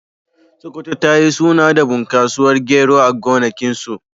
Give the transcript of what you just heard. Sokoto ta yi suna da bunƙasuwar gero a gonakinsu.